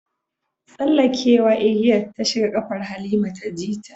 Tsallekewa igiyar ta shiga kafar Halima ta ji ta